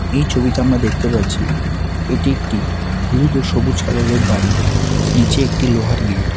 এই ছবিতে আমরা দেখতে পারছি এটি একটি হলুদ ও সবুজ কালারের বাড়ি নীচে একটি লোহার গেট ।